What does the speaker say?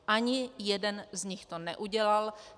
Ani jeden z nich to neudělal.